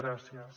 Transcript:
gràcies